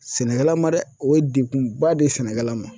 Sɛnɛkɛla ma dɛ! O ye dekun ba de ye sɛnɛkɛla ma.